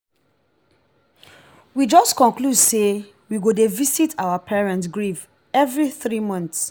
we just conclude say we go dey visit our parent grave every three months